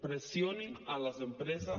pressionin a les empreses